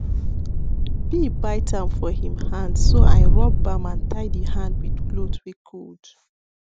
bee bite am for him handh so i rub balm and tie the hand with cloth wey cold